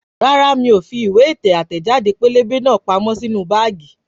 Rárá miò fi ìwé ètò àtẹẹ̀jáde pẹ́lẹ́bẹ́ náà pamọ́ sínú báágì